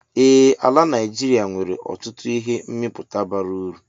Ee ala Naijiria nwere ọtụtụ ihe mmịpụta bara uru.